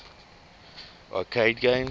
arcade games